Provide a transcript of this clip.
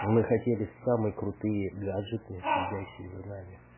мы хотели самые крутые гаджеты следящие за нами